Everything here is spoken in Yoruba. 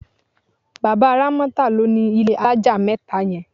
Bàbá Rámọ́tà ló nílé alájà mẹ́ta yẹn.